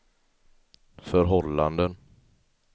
förhållanden